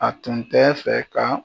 A tun tɛ fɛ ka